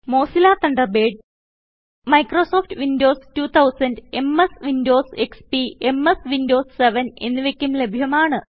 Mozilla Thunderbird Microsoft Windows 2000 MS Windows XP MS Windows 7 എന്നിവയ്ക്കും ലഭ്യമാണ്